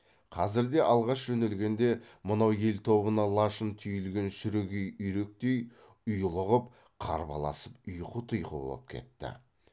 қазір де алғаш жөнелгенде мынау ел тобына лашын түйілген шүрегей үйректей ұйлығып қарбаласып ұйқы тұйқы боп кетті